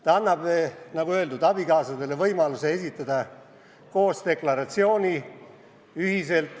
See annaks, nagu öeldud, abikaasadele võimaluse esitada tuludeklaratsioon ühiselt.